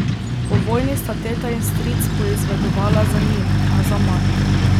Po vojni sta teta in stric poizvedovala za njim, a zaman.